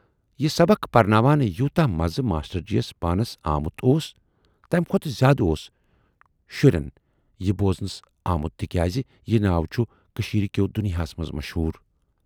یہِ سبق پَرٕناوان یوٗتاہ مَزٕ ماشٹر جِیَس پانَس آمُت اوس، تَمہِ کھۅتہٕ زیادٕ اوس شُرٮ۪ن یہِ بوزٕنَس آمُت تِکیازِ یہِ ناو چھُ کٔشیٖرِ کیو دُنۍیاہَس منز مشہوٗر۔